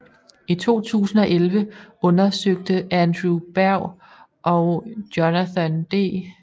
I 2011 undersøgte Andrew Berg og Jonathan D